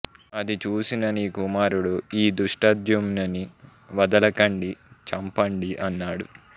అది చూసిన నీ కుమారుడు ఈ ధృష్టద్యుమ్నుని వదలకండి చంపండి అన్నాడు